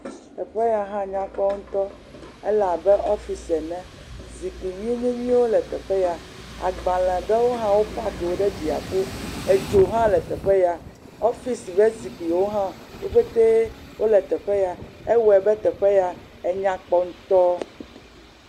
Teƒe ya hã nyakpɔ ŋutɔ ale abe ɔfisi ene, zikpui nyuinyuinyuiwo le teƒea, agbalẽ ɖewo hã wo park wo ɖe dziaƒo edzo hã le teƒe ya ɔfisi ƒe zikpuiwo hã le teƒe ya wo pete wole teƒe ya ewɔe be teƒe ya enyakpɔ ŋutɔ.